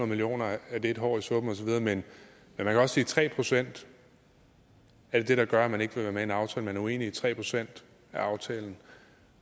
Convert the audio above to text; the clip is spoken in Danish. millioner er et hår i suppen men man kan også tre procent er det der gør at man ikke vil være med i en aftale man er uenig i tre procent af aftalen